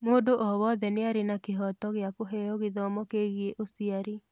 Mũndũ o wothe nĩ arĩ na kĩhooto gĩa kũheo gĩthomo kĩgiĩ ũciari.